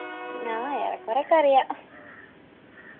നാ ഏറെക്കൊറേയൊക്കെയറിയ